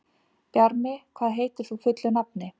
Bjarmi, hvað heitir þú fullu nafni?